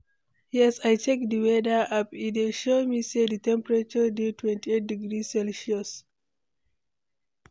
yes, i check di weather app, e dey show me say di temperature dey 28 degrees celsius